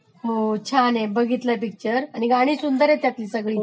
हो छान आहे बघितलाय पिक्चर आणि गाणी सुंदर आहेत त्यातली सगळीच